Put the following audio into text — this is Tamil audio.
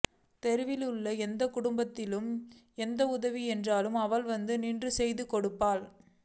தெருவில் உள்ள எந்தக்குடும்பத்திற்கு எந்த உதவி என்றாலும் அவள் வந்து நின்று செய்துகொடுப்பாள்